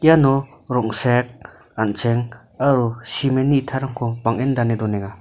iano rong·srek an·cheng aro cement-ni itarangko bang·en dane donenga.